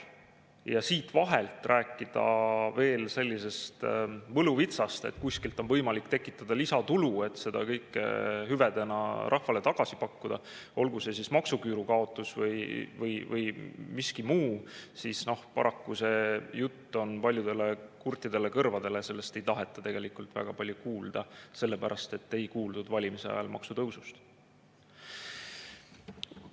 Ja siit vahelt rääkida veel sellisest võluvitsast, et kuskilt on võimalik tekitada lisatulu, et seda kõike hüvedena rahvale tagasi pakkuda, olgu see siis maksuküüru kaotus või miski muu – paraku see jutt on paljudele kurtidele kõrvadele, sellest ei taheta tegelikult väga palju kuulda, sellepärast et ei kuuldud valimise ajal maksutõusust.